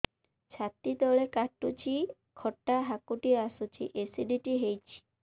ଛାତି ତଳେ କାଟୁଚି ଖଟା ହାକୁଟି ଆସୁଚି ଏସିଡିଟି ହେଇଚି